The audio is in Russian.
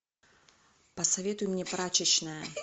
посоветуй мне прачечная